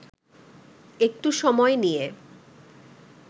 একটু সময় নিয়ে